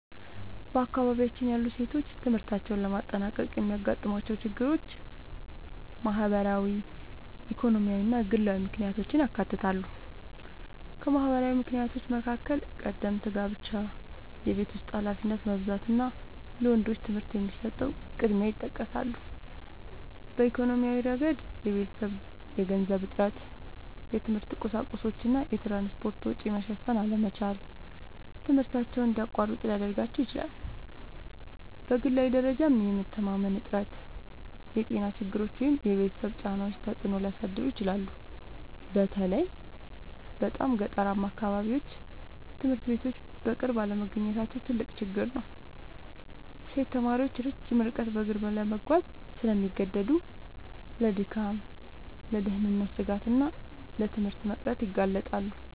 በአካባቢያችን ያሉ ሴቶች ትምህርታቸውን ለማጠናቀቅ የሚያጋጥሟቸው ችግሮች ማህበራዊ፣ ኢኮኖሚያዊ እና ግላዊ ምክንያቶችን ያካትታሉ። ከማህበራዊ ምክንያቶች መካከል ቀደምት ጋብቻ፣ የቤት ውስጥ ኃላፊነት መብዛት እና ለወንዶች ትምህርት የሚሰጠው ቅድሚያ ይጠቀሳሉ። በኢኮኖሚያዊ ረገድ የቤተሰብ የገንዘብ እጥረት፣ የትምህርት ቁሳቁሶች እና የትራንስፖርት ወጪ መሸፈን አለመቻል ትምህርታቸውን እንዲያቋርጡ ሊያደርጋቸው ይችላል። በግላዊ ደረጃም የመተማመን እጥረት፣ የጤና ችግሮች ወይም የቤተሰብ ጫናዎች ተጽዕኖ ሊያሳድሩ ይችላሉ። በተለይ በጣም ገጠራማ አካባቢዎች ትምህርት ቤቶች በቅርብ አለመገኘታቸው ትልቅ ችግር ነው። ሴት ተማሪዎች ረጅም ርቀት በእግር ለመጓዝ ስለሚገደዱ ለድካም፣ ለደህንነት ስጋት እና ለትምህርት መቅረት ይጋለጣሉ